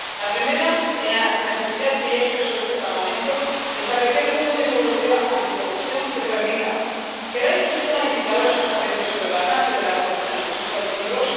La primera es la necesidad que ya expresó este Parlamento de establecer un código europeo anticorrupción que permita crear un sistema de indicadores transparente sobre el alcance de la corrupción en los Estados miembros